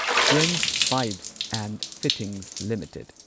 prince Pipes and Fittings limited